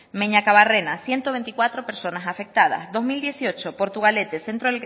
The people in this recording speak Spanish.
meñakabarrena ciento veinticuatro personas afectadas dos mil dieciocho portugalete centro